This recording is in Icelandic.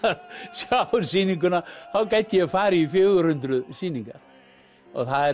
sjá sýninguna þá gæti ég farið í fjögur hundruð sýningar og það er